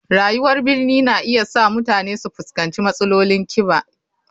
Rayuwar birni na iya sa mutane su fuskanci matsalolin kiba.